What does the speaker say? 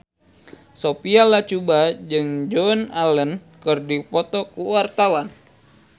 Sophia Latjuba jeung Joan Allen keur dipoto ku wartawan